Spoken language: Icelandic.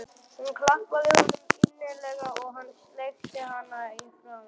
Hún klappaði honum innilega og hann sleikti hana í framan.